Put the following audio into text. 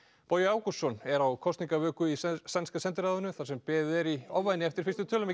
Bogi Ágústsson er á kosningavöku í Sænska sendiráðinu þar sem beðið er í ofvæni eftir fyrstu tölum